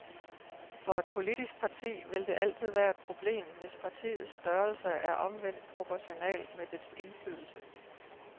For et politisk parti vil det altid være et problem, hvis partiets størrelse er omvendt proportional med dets indflydelse.